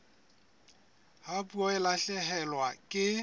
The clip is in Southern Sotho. ha puo e lahlehelwa ke